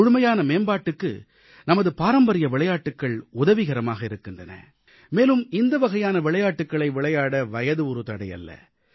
முழுமையான மேம்பாட்டுக்கு நமது பாரம்பரிய விளையாட்டுகள் உதவிகரமாக இருக்கின்றன மேலும் இந்தவகையான விளையாட்டுகளை விளையாட வயது ஒரு தடையல்ல